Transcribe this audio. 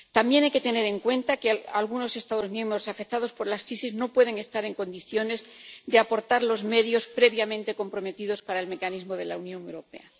También hay que tener en cuenta que algunos Estados miembros afectados por la crisis no pueden estar en condiciones de aportar los medios previamente comprometidos para el Mecanismo de la Unión Europea.